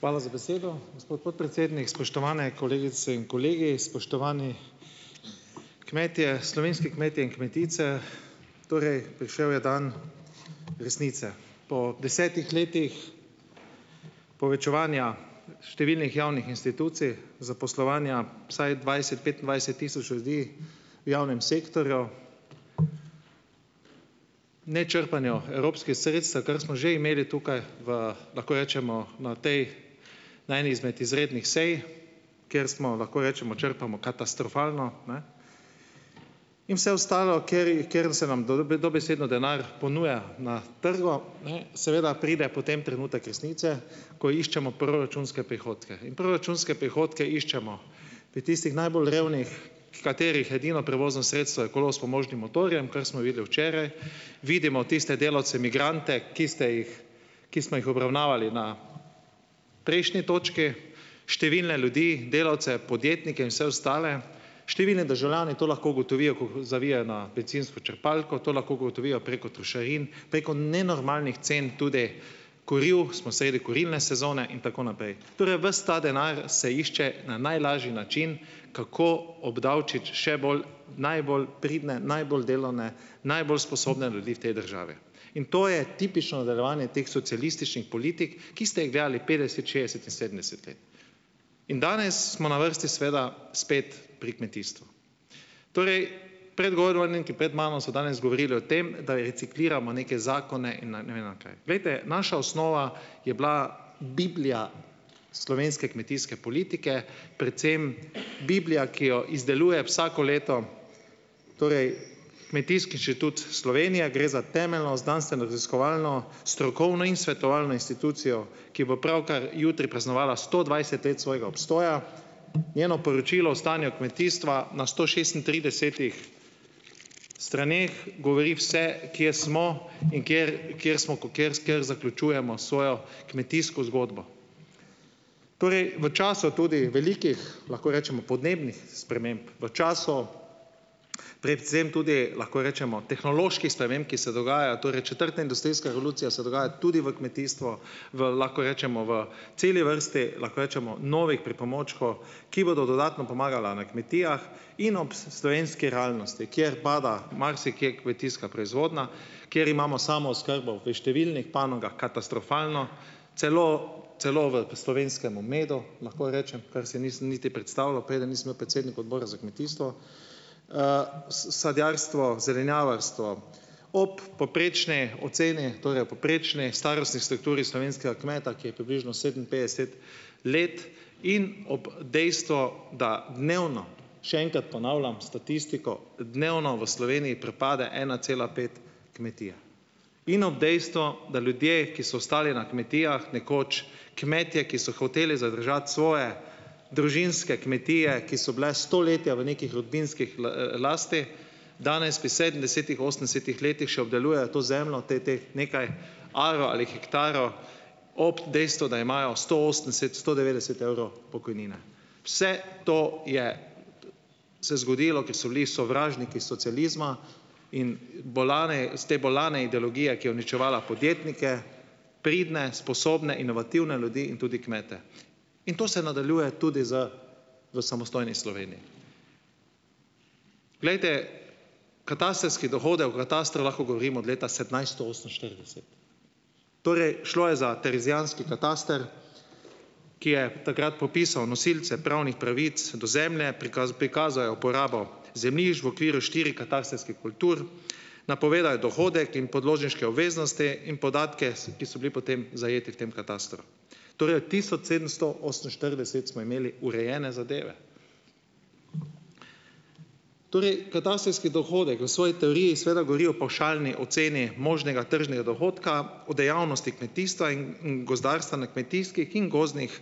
Hvala za besedo, gospod podpredsednik. Spoštovane kolegice in kolegi, spoštovani kmetje, slovenski kmetje in kmetice! Torej, prišel je dan resnice. Po desetih letih povečevanja številnih javnih institucij, zaposlovanja vsaj dvajset, petindvajset tisoč ljudi v javnem sektorju, nečrpanju evropskih sredstev, kar smo že imeli tukaj v, lahko rečemo na tej na eni izmed izrednih sej, ker smo, lahko rečemo, črpamo katastrofalno, ne, in vse ostalo, kateri kjer se nam dobesedno denar ponuja na trgu, seveda pride potem trenutek resnice, ko iščemo proračunske prihodke. In proračunske prihodke iščemo pri tistih najbolj revnih, katerih edino prevozno sredstvo je kolo s pomožnim motorjem, kar smo videli včeraj, vidimo tiste delavce migrante, ki ste jih, ki smo jih obravnavali na prejšnji točki, številne ljudi, delavce, podjetnike in vse ostale. Številni državljani to lahko ugotovijo, ko ko zavijejo na bencinsko črpalko. To lahko ugotovijo preko trošarin, preko nenormalnih cen tudi kuriv, smo sredi kurilne sezone in tako naprej. Torej, ves ta denar se išče na najlažji način, kako obdavčiti še bolj najbolj pridne, najbolj delovne, najbolj sposobne ljudi v tej državi. In to je tipično nadaljevanje teh socialističnih politik, ki ste jih delali petdeset, šestdeset in sedemdeset let. In danes smo na vrsti seveda spet pri kmetijstvu. Torej. Pred mano so danes govorili o tem, da recikliramo neke zakone. Glejte, naša osnova je bila biblija slovenske kmetijske politike, predvsem biblija, ki jo izdeluje vsako leto. Torej. Kmetijski inštitut Slovenije. Gre za temeljno znanstveno raziskovalno strokovno in svetovalno institucijo, ki bo pravkar jutri praznovala sto dvajset let svojega obstoja. Njeno poročilo o stanju kmetijstva na sto šestintridesetih straneh govori, vse kje smo in kjer kjer smo, kjer kjer zaključujemo svojo kmetijsko zgodbo. Torej, v času tudi velikih, lahko rečemo podnebnih sprememb, v času predvsem tudi lahko rečemo tehnoloških sprememb, ki se dogajajo, torej četrta industrijska revolucija se dogaja tudi v kmetijstvu, v lahko rečemo v celi vrsti lahko rečemo novih ki bodo dodatno pomagala na kmetijah in ob slovenski realnosti, kjer pada marsikje kmetijska proizvodnja, kjer imamo samooskrbo v številnih panogah katastrofalno, celo celo v slovenskemu medu, lahko rečem, kar si nisem niti predstavljal, preden nisem bil predsednik Odbora za kmetijstvo, sadjarstvo, zelenjavarstvo ob poprečni oceni, torej ob poprečni starostni strukturi slovenskega kmeta, ki je približno sedeminpetdeset let in ob dejstvo, da dnevno, še enkrat ponavljam statistiko, dnevno v Sloveniji propade ena cela pet kmetije. In ob dejstvu, da ljudje, ki so ostali na kmetijah, nekoč kmetje, ki so hoteli zadržati svoje družinske kmetije, ki so bile stoletja v nekih rodbinskih lasti, danes pri sedemdesetih, osemdesetih letih še obdelujejo to zemljo, te teh nekaj arov ali hektarov ob dejstvu, da imajo sto osemdeset, sto devetdeset evrov pokojnine. Vse to je se zgodilo, ker so bili sovražniki socializma in bolne s te bolne ideologije, ki je uničevala podjetnike, pridne, sposobne, inovativne ljudi in tudi kmete. In to se nadaljuje tudi z v samostojni Sloveniji. Glejte, katastrski dohodek, o katastru lahko govorimo od leta sedemnajsto oseminštirideset. Torej, šlo je za terezijanski kataster, ki je takrat popisal nosilce pravnih pravic do zemlje, prikazal je uporabo zemljišč v okviru štiri katastrskih kultur, je dohodek in podložniške obveznosti in podatke, ki so bili potem zajeti v tem katastru. Torej, od tisoč sedemsto oseminštirideset smo imeli urejene zadeve. Torej, katastrski dohodek v svoji teoriji seveda govori o pavšalni oceni možnega tržnega dohodka, o dejavnosti kmetijstva in gozdarstva na kmetijskih in gozdnih